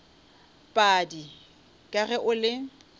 padi ka ge o le